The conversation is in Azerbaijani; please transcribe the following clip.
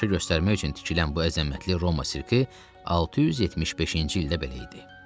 Tamaşa göstərmək üçün tikilən bu əzəmətli Roma sirki 675-ci ildə belə idi.